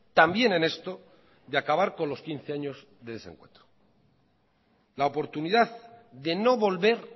también en esto de acabar con los quince años de desencuentro la oportunidad de no volver